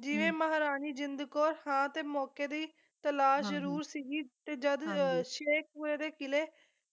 ਜਿਵੇਂ ਮਹਾਰਾਣੀ ਜਿੰਦ ਕੌਰ ਸਾਹ ਤੇ ਮੌਕੇ ਦੀ ਤਲਾਸ਼ ਜਰੂਰ ਸੀ ਗੀ ਤੇ ਜਦ ਸ਼ੇਖਪੁਰੇ ਦੇ ਕਿਲ੍ਹੇ